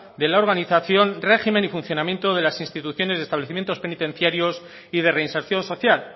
de la organización régimen y funcionamiento de las instituciones de establecimientos penitenciarios y de reinserción social